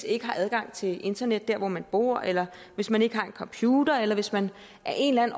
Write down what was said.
ikke har adgang til internet dér hvor man bor eller hvis man ikke har en computer eller hvis man af en